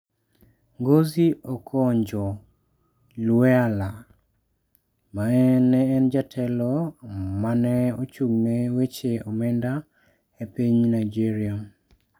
Ngozi Okonjo-Iweala, ma ne en jatelo ma ne ochung'ne weche omenda e piny Nigeria.